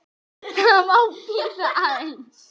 Það má bíða aðeins.